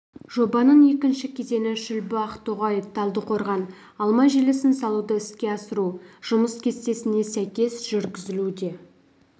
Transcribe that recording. жобаның екінші кезеңі шүлбі ақтоғай талдықорған алма желісін салуды іске асыру жұмыс кестесіне сәйкес жүргізілуде